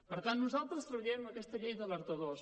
per tant nosaltres treballarem aquesta llei d’alertadors